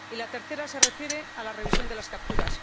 Y la tercera se refiere a la revisión de las capturas.